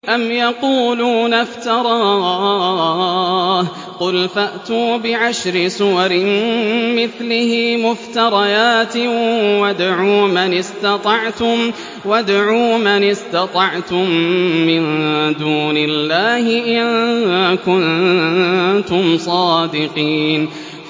أَمْ يَقُولُونَ افْتَرَاهُ ۖ قُلْ فَأْتُوا بِعَشْرِ سُوَرٍ مِّثْلِهِ مُفْتَرَيَاتٍ وَادْعُوا مَنِ اسْتَطَعْتُم مِّن دُونِ اللَّهِ إِن كُنتُمْ صَادِقِينَ